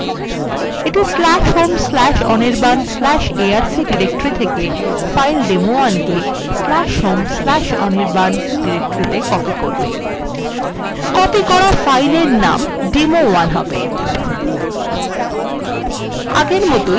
এইটি/home/anirban/arc/directory থেকে file demo1/home/anirban/arc/ডিরেক্টরিত়ে copy করবে copy করা fileএর name demo1 হবে